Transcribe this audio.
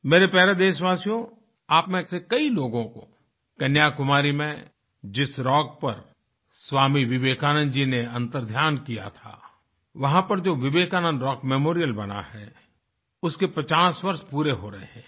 मेरे प्यारे देशवासियो आप में से कई लोगों को कन्याकुमारी में जिस रॉक पर स्वामी विवेकानंद जी ने अंतर्ध्यान किया था वहां परजो विवेकानंद रॉक मेमोरियल बना है उसके पचास वर्ष पूरे हो रहे हैं